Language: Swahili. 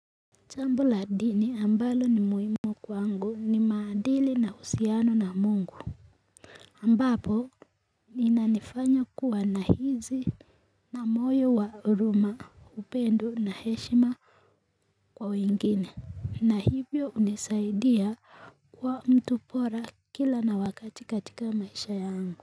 Jambo la dini ambalo ni muhimu kwangu ni maadili na uhusiano na mungu ambapo ninanifanya kuwa nahisi na moyo wa huruma, upendo na heshima kwa wengine. Na hivyo hunisaidia kuwa mtu bora kila na wakati katika maisha yangu.